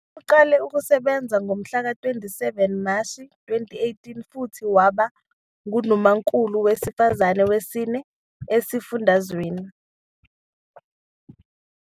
Uqale ukusebenza ngomhlaka 27 Mashi 2018 futhi waba nguNdunankulu wesifazane wesine esifundazweni.